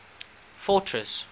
fortress